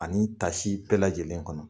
Ani tasi bɛɛ lajɛlen kɔnɔ